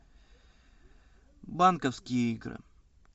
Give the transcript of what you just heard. банковские игры